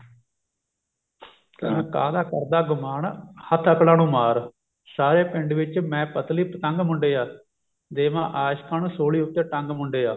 ਕਹਿੰਦਾ ਕਾਹਦਾ ਕਰਦਾ ਗੁਮਾਨ ਹੱਥ ਅਕਲਾਂ ਨੂੰ ਮਾਰ ਸਾਰੇ ਪਿੰਡ ‘ਚ ਮੈਂ ਪਤਲੀ ਪਤੰਗ ਮੁੰਡਿਆਂ ਦੇਵਾਂ ਆਸ਼ਕਾਂ ਨੂੰ ਸੂਲੀ ਉੱਤੇ ਟੰਗ ਮੁੰਡਿਆਂ